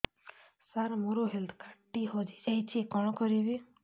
ସାର ମୋର health card ଟି ହଜି ଯାଇଛି କଣ କରିବି